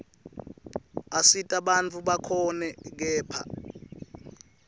asita bantfu bakhone kephla